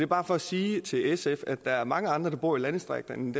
bare for at sige til sf at der er mange andre der bor i landdistrikterne